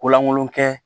Ko lankolon kɛ